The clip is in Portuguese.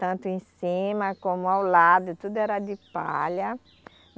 Tanto em cima, como ao lado, tudo era de palha.